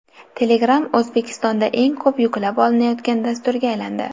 Telegram O‘zbekistonda eng ko‘p yuklab olinayotgan dasturga aylandi.